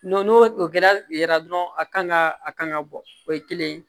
n'o o kɛra dɔrɔn a kan ka a kan ka bɔ o ye kelen ye